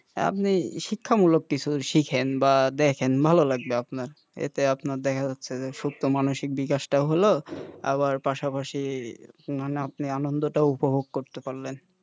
হ্যাঁ, আপনি শিক্ষা মূলক কিছু শেখেন বা দেখেন ভালো লাগবে আপনার এতে দেখা যাচ্ছে যে সত্য মানুষের বিকাশটাও হলো আবার পাশাপাশি মানে আপনি আনন্দটাও উপভোগ করতে পারলেন,